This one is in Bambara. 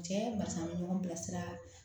Cɛ basan an bɛ ɲɔgɔn bilasira